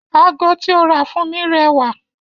Ago tí ó rà fún mi rẹwà